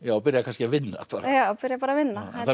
byrjar kannski að vinna já byrjar bara að vinna